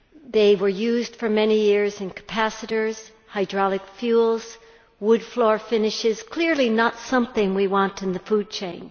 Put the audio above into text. They were used for many years in capacitors, hydraulic fuels, wood floor finishes clearly not something we want in the food chain.